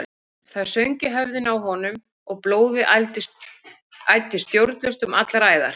Það söng í höfðinu á honum og blóðið æddi stjórnlaust um allar æðar.